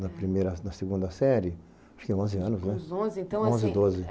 Na primeira na segunda série, tinha uns onze anos né, tipo uns onze assim, uns onze, doze